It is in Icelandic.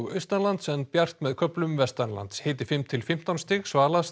austanlands en bjart með köflum hiti fimm til fimmtán stig